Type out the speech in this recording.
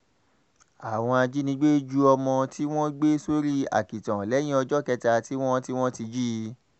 àwọn ajínigbé ju ọmọ tí wọ́n gbé sórí àkìtàn lẹ́yìn ọjọ́ kẹta tí wọ́n ti wọ́n ti jí i